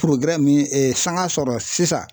min sanga sɔrɔ sisan